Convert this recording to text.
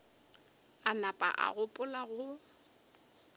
a napa a gopola go